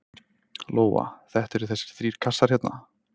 Lóa: Þetta eru þessir þrír kassar hérna?